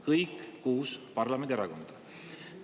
Kõik kuus parlamendierakonda!